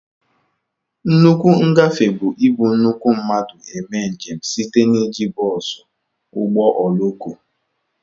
Nnukwu ngafe bu ị bu nnukwu mmadụ eme njem site na iji bosú, ụgbọ ọloko wdg.